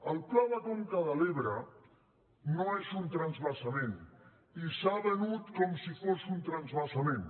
el pla de conca de l’ebre no és un transvasament i s’ha venut com si fos un transvasament